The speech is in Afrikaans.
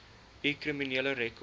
u kriminele rekord